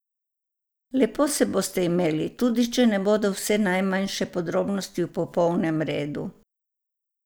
Lepo se boste imeli, tudi če ne bodo vse najmanjše podrobnosti v popolnem redu.